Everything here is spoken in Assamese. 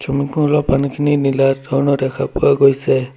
পানীখিনি নীলা ধৰণৰ দেখা পোৱা গৈছে।